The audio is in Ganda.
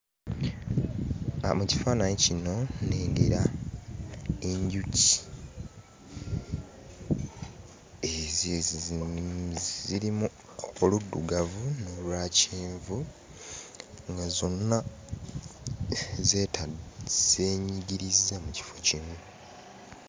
Aa mu kifaananyi kino nnengera enjuki ezezii...zirimu oluddugavu n'olwakyenvu nga zonna emm..zeeta...zeenyigirizza mu kifo kimu.